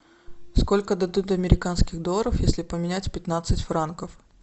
сколько дадут американских долларов если поменять пятнадцать франков